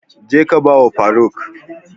Je ka ba wa faruk!